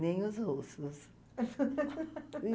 Nem os russos.